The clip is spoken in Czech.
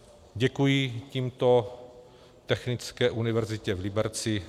Děkuji tímto Technické univerzitě v Liberci.